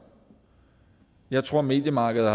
jeg tror mediemarkedet